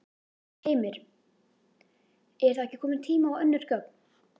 Heimir: Er þá ekki kominn tími á önnur gögn?